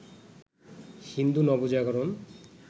Hindu Nabajagaran